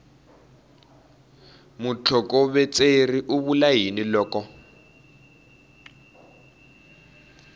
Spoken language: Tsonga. mutlhokovetseri u vula yini loko